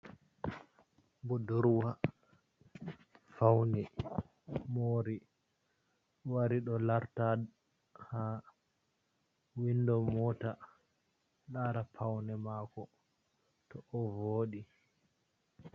Budurwa fauni mori wari ɗo larta ha windo mota lara paune mako to o vodi.